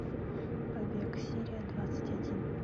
побег серия двадцать один